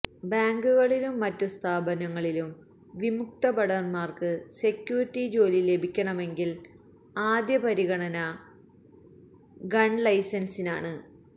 ബാങ്കുകളിലും മറ്റു സ്ഥാപനങ്ങളിലും വിമുക്തഭടന്മാര്ക്കു സെക്യൂരിറ്റി ജോലി ലഭിക്കണമെങ്കില് ആദ്യപരിഗണന ഗണ്ലൈസന്സിനാണ്